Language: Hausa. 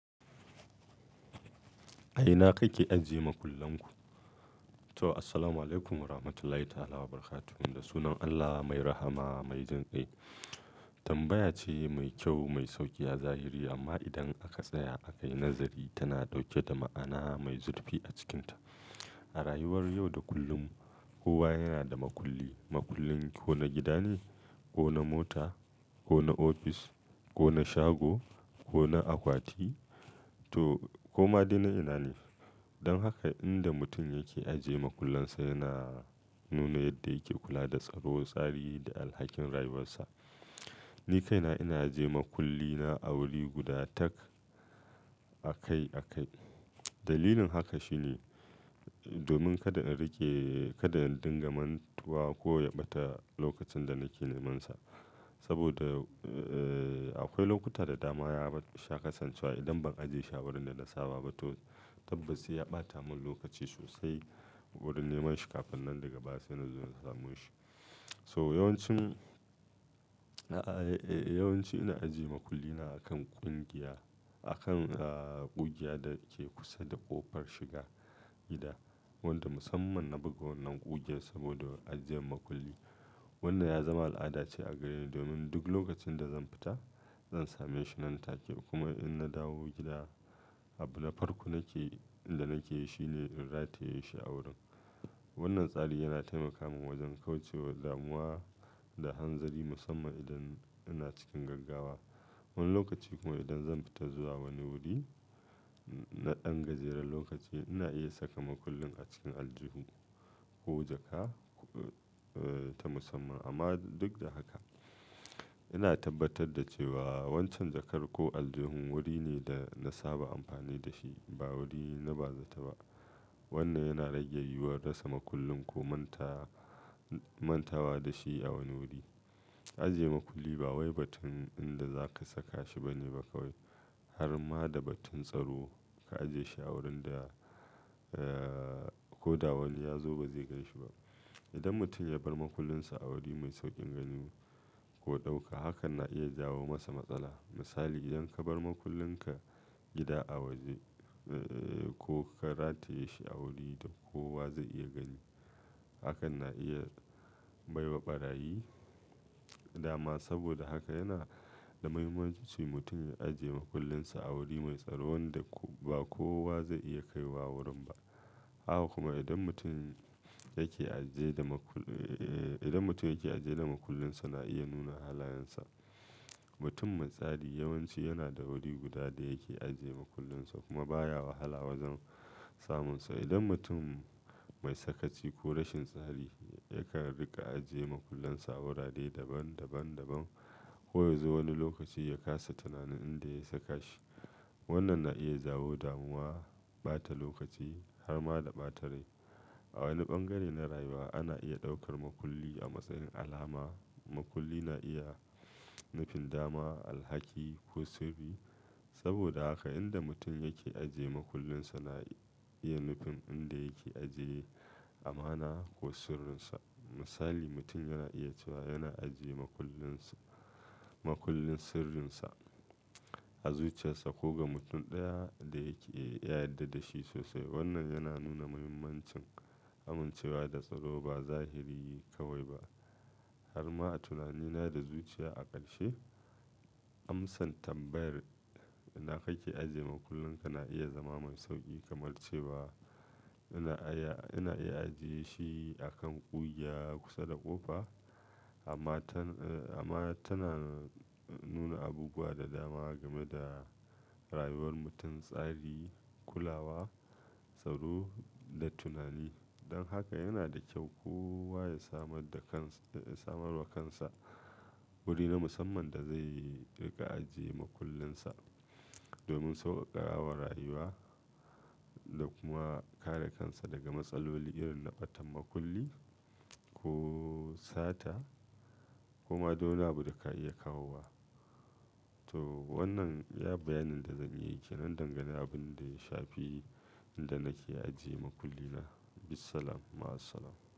A ina kake ajiye makullan ku? To, assalamualaikum warahmatullahi ta'ala wabarakatuh. Da sunan Allah mai rahama, mai jin kai. Tambaya ce mai kyau, mai sauki a zahiri amma idan aka tsaya akai nazari tana ɗauke da ma'ana mai zurfi a cikinta. A rayuwar yau da kullum kowa yana da makulli. Makullin ko na gida ne, ko na mota, ko na ofis, ko na shago, ko na akwati to ko ma dai na ina ne. Don haka inda mutum yake ajiye makullansa yana nuna yadda yake kula da tsaro, tsari da alhakin rayuwarsa. Ni kaina ina ajiye makullina a wuri guda tak a kai a kai. Dalilin haka shi ne domin kada in rike, kada in dinga mantuwa ko ya ɓata lokacin da nake nemansa. Saboda, ee, akwai lokuta da dama ya sha kasancewa idan ban ajiye shi a wurin da na saba ba to tabbas ya ɓata mun lokaci sosai wurin neman shi kafin nan daga baya sai na zo na samo shi. So yawanci, a'a, ee, yawanci ina ajiye makullina a kan ƙungiya, a kan, ee, ƙugiya da ke kusa da ƙofar shiga gida wanda musamman na buga wannan ƙugiyar saboda ajiyan makulli. Wannan ya zama al'ada ce a gare ni domin duk lokacin da zan fita zan same shi nan take kuma in na dawo gida, abin na farko nake, inda nake shi ne in rataye shi a wurin. Wannan tsari yana taimaka min wajen kauce wa damuwa da hanzari musamman idan ina cikin gaggawa. Wani lokaci kuma idan zan fita zuwa wani wuri na ɗan gajeren lokaci ina iya saka makullin a cikin aljihun ko jaka, ee, ta musamman amma duk da haka ina tabbatar da cewa waccan jakar ko aljihun wuri ne da na saba amfani da shi ba wuri na ba zata ba. Wannan yana rage yiwuwar rasa makullin ko manta, mantawa da shi a wani wuri. Ajiye makulli ba wai batun inda za ka saka shi bane baka wai har ma da batun tsaro. Ka ajiye shi a wurin da, ee, ko da wani ya zo ba zai gashi ba. Idan mutum ya bar makullinsa a wuri mai sauƙin gani ko ɗauka hakan na iya jawo masa matsala. Misali idan ka bar makullinka gida a waje, ee, ko ka rataye shi a wuri da kowa zai iya gani hakan na iya baiwa ɓarayi dama. Saboda haka yana da muhimmanci mutum ya ajiye makullinsa a wuri mai tsaro wanda ba kowa zai iya kaiwa wurin ba. Haka kuma idan mutum yake ajiye da makul-- ee, idan mutum yake ajiye da makullinsa na iya nuna halayensa. Mutum mai tsari yawanci yana da wuri guda da yake ajiye makullinsa kuma baya wahala wajen samunsa. Idan mutum mai sakaci ko rashin tsari yakan riƙa ajiye makullansa a wurare daban, daban, daban ko ya zo wani lokaci ya kasa tunanin inda ya saka shi. Wannan na iya jawo damuwa, ɓata lokaci har ma da ɓatarai. A wani bangare na rayuwa ana iya ɗaukar makulli a matsayin alama. Makulli na iya nufin dama, alhaki ko sirri. Saboda haka inda mutum yake ajiye makullinsa na iya nufin inda yake ajiye amana ko sirrinsa. Misali mutum yana iya cewa yana ajiye makullinsa, makullin sirrinsa, a zuciyarsa ko ga mutum ɗaya da yake ya yadɗa da shi sosai. Wannan yana nuna muhimmancin amincewa da tsaro ba zahiri kawai ba har ma tunanina da zuciya a ƙarshe. Am DXDsan tambayar ina kake ajiye makullanka na iya zama mai sauƙi kamar cewa ina aya-- ina iya ajiye shi a kan ƙugiya kusa da ƙofa amma tan, amma tana nuna abubuwa da dama game da rayuwar mutum, tsari, kulawa, tsaro da tunani. Don haka yana da kyau kowa ya samar da kans-- samar wa kansa wuri na musamman da zai riƙa ajiye makullinsa domin sauƙaƙarawar rayuwa da kuma kare kansa daga matsaloli irin na ɓatan makulli ko sata kuma dole abu da ka iya kawo wa. To wannan iya bayanin da zan yi ke nan dangane da abin da ya shafi inda nake ajiye makullina. Bisalam, ma'asalam.